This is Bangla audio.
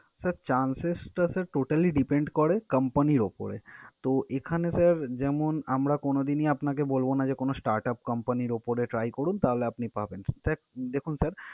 Sir, chances টা sir totally depend করে company র উপরে। তো, এখানে sir যেমন আমরা কোন দিনই আপনাকে বলব না যে কোনো startup company র উপরে try করুন তাহলে আপনি পাবেন। Sir দেখুন sir